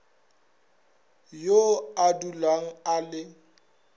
yo a dulago a le